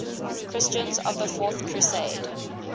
christians of the fourth crusade